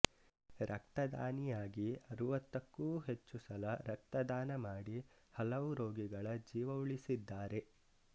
ರಕ್ತದಾನಿಯಾಗಿ ಅರವತ್ತಕ್ಕೂ ಹೆಚ್ಚುಸಲ ರಕ್ತದಾನ ಮಾಡಿ ಹಲವು ರೋಗಿಗಳ ಜೀವ ಉಳಿಸಿದ್ದಾರೆ